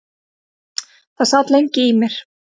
Það sat lengi í mér.